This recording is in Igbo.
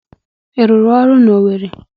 Ị rụrụ ọrụ na Owere?